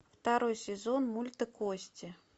второй сезон мульта кости